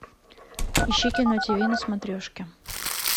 ищи кино тиви на смотрешке